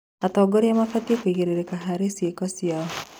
Atongoria mabatiĩ kũigĩrĩrĩka harĩ ciĩko ciao.